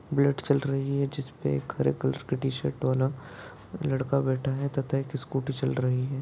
चल रही है जिसपे एक हरे कलर की टी-शर्ट वाला लड़का बैठा है तथा एक स्कूटी चल रही है।